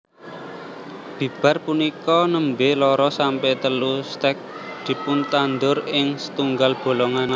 Bibar punika nembé loro sampe telu stèk dipuntandur ing setunggal bolongan